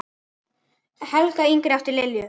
Helga yngri átti Lilju.